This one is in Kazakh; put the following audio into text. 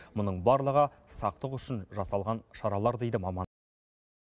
мұның барлығы сақтық үшін жасалған шаралар дейді маман